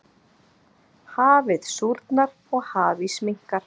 Hafið súrnar og hafís minnkar.